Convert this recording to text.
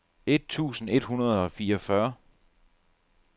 et tusind et hundrede og fireogfyrre